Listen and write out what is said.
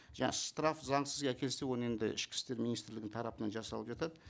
жаңа штраф заңсыз әкелсе оны енді ішкі істер министрлігінің тарапынан жасалып жатады